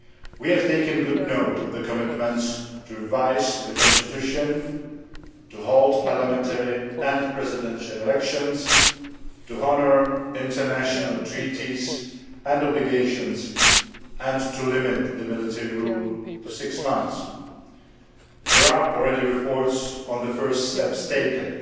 We have taken good note of the commitments to revise the Constitution, to hold parliamentary and presidential elections, to honour international treaties and obligations and to limit military rule to six months. There are already reports on the first steps taken.